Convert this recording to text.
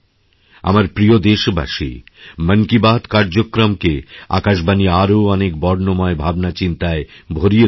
আমার প্রিয় দেশবাসী মন কি বাতকার্যক্রমকে আকাশবাণী আরও অনেক বর্ণময় ভাবনাচিন্তায় ভরিয়ে তুলেছে